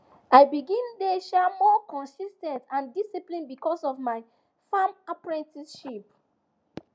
i begin dey um more consis ten t and disciplined because of my farm apprenticeship